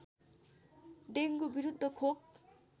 dengue विरुद्ध खोप